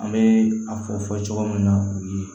An bɛ a fɔ fɔ cogo min na u ye